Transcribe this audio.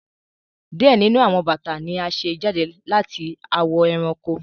diẹ nínú àwọn bata ní a ṣe jáde lati awọ eranko.